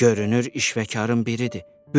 Görünür, işvəkarın biridir.